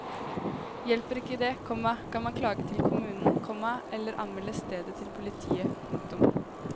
Hjelper ikke det, komma kan man klage til kommunen, komma eller anmelde stedet til politiet. punktum